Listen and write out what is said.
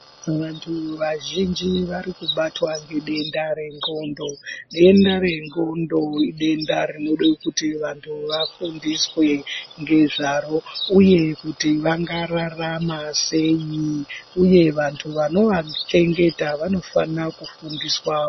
Vantu vazhinji varikubatwa ngedenda rencondo. Denda rencondo idenda rinode kuti vantu vafundiswe ngezvaro uye kuti vangararama sei uye vantu vanovachengeta vanofana kufundiswa.